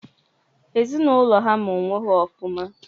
Ezinaụlọ ha maa onwe ha ọfụma.